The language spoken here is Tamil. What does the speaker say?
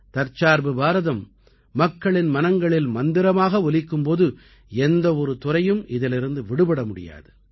தற்சார்பு பாரதம் மக்களின் மனங்களில் மந்திரமாக ஒலிக்கும் போது எந்த ஒரு துறையும் இதிலிருந்து விடுபட முடியாது